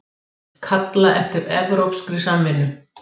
Kalla eftir evrópskri samvinnu